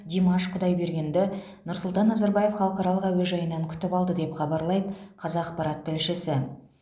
димаш құдайбергенді нұрсұлтан назарбаев халықаралық әуежайынан күтіп алды деп хабарлайды қазақпарат тілшісі